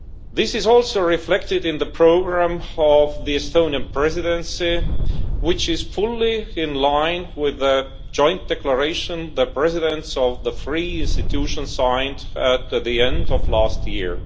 This is also reflected in the programme of the Estonian Presidency, which is fully in line with the joint declaration which the Presidents of the three institutions signed at the end of last year.